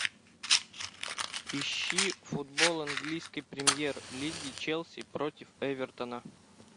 ищи футбол английской премьер лиги челси против эвертона